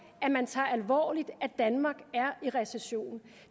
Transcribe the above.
at man tager alvorligt at danmark er i recession